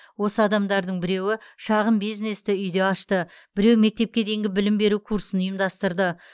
осы адамдардың біреуі шағын бизнесті үйде ашты біреу мектепке дейінгі білім беру курсын ұйымдастырды